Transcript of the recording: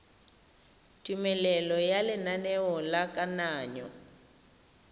tumelelo ya lenaneo la kananyo